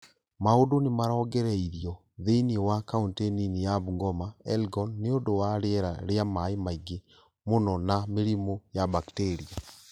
Mau͂ndu͂ ni͂ marongereirio thi͂ini͂ wa kaunti nini ya Bungoma, Elgon, ni͂ u͂ndu͂ wa ri͂era ri͂a mai͂ maingi͂ mu͂no na mi͂rimu͂ ya bakteria.